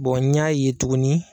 n y'a ye tuguni